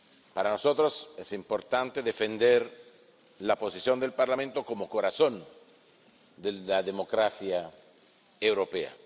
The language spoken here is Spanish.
Para nosotros es importante defender la posición del Parlamento como corazón de la democracia europea.